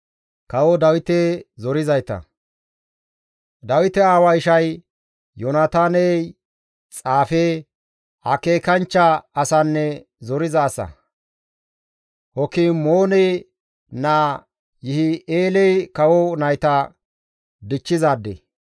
Dawite aawaa ishay Yoonataaney xaafe, akeekanchcha asanne zoriza asa; Hakimoone naa Yihi7eeley kawo nayta dichchizaade.